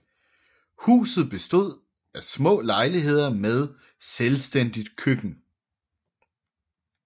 Huset bestod af små lejligheder med selvstændigt køkken